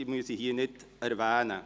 ich muss sie hier nicht erwähnen.